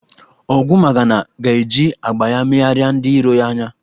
Ogwumagana ga-eji agba ya megharịa ndị iro ya anya.